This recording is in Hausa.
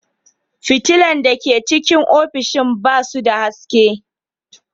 Fitilla da ke cikin ofishin ba su da haske.